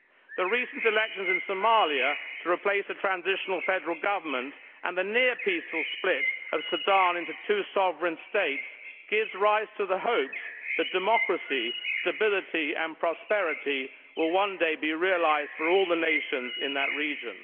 The recent elections in Somalia to replace a transitional federal government and the near peaceful split of Sudan into two sovereign states gives rise to the hopes that democracy, stability and prosperity will one day be realised for all the nations in that region.